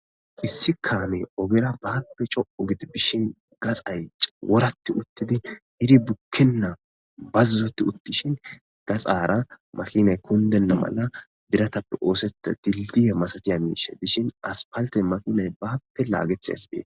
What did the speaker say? Issi kaame ogera baappe co'u giti bishin gaxaycc woratti uttidi hidi bukkenna bazzuzoti uttishin gaxaara makinay kundenna mala diratappe ooseta tildiye masatiya miishe dishin aspalte makinay baappe laagetheaspee.